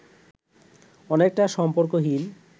অনেকটা সম্পর্কহীন